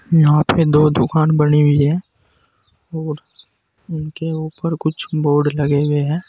यहां पे दो दुकान बनी हुई है और उनके ऊपर कुछ बोर्ड लगे हुए हैं।